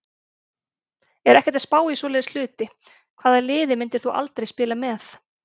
Er ekkert að spá í svoleiðis hluti Hvaða liði myndir þú aldrei spila með?